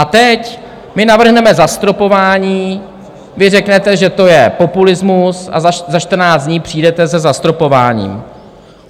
A teď my navrhneme zastropování, vy řeknete, že to je populismus, a za 14 dní přijdete se zastropováním.